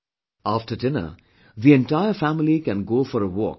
After dinner, the entire family can go for a walk with the children